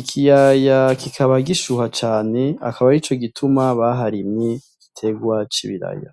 ikiyaya kikaba gishuha cane akaba ari co gituma baharimye gitegwa c'ibiraya.